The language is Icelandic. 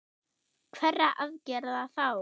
Hverra aðgerða þá?